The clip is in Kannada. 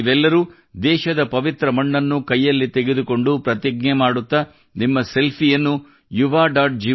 ನೀವೆಲ್ಲರೂ ದೇಶದ ಪವಿತ್ರ ಮಣ್ಣನ್ನು ಕೈಯಲ್ಲಿ ತೆಗೆದುಕೊಂಡು ಪ್ರತಿಜ್ಞೆ ಮಾಡುತ್ತಾ ನಿಮ್ಮ ಸೆಲ್ಫಿಯನ್ನು yuva